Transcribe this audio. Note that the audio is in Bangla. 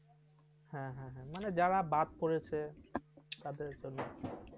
হ্যাঁ, মানে যারা বাদ পড়েছে তাদের জন্য।